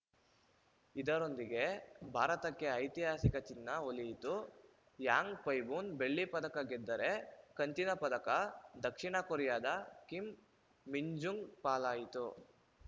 ಇದರೊಂದಿಗೆ ಭಾರತಕ್ಕೆ ಐತಿಹಾಸಿಕ ಚಿನ್ನ ಒಲಿಯಿತು ಯಾಂಗ್‌ಪೈಬೂನ್‌ ಬೆಳ್ಳಿ ಪದಕ ಗೆದ್ದರೆ ಕಂಚಿನ ಪದಕ ದಕ್ಷಿಣ ಕೊರಿಯಾದ ಕಿಮ್‌ ಮಿನ್ಜುಂಗ್‌ ಪಾಲಾಯಿತು